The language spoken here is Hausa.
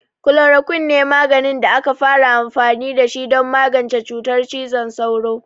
Chloroquine ne maganin da aka fara amfani da shi don magance cutar cizon sauro.